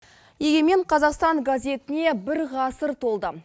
егемен қазақстан газетіне бір ғасыр толды